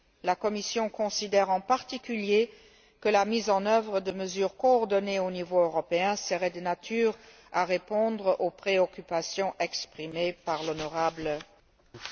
La Commission considère en particulier que la mise en œuvre de mesures coordonnées au niveau européen serait de nature à répondre aux préoccupations exprimées par l'honorable député.